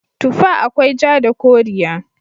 Tufa akwai ja da koriya.